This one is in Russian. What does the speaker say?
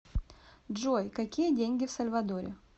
джой какие деньги в сальвадоре